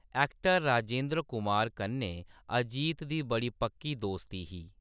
Actor Rajendra Kumar कन्नै अजित दी बड़ी पक्की दोस्ती ही।